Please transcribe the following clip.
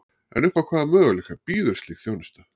En upp á hvaða möguleika býður slík þjónusta?